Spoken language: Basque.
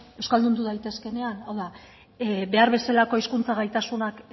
euskaldundu daitezkeenean hau da behar bezalako hizkuntza gaitasunak